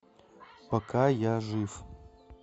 пока я жив